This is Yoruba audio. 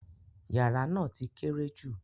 Yàrà ná ti kéré jú.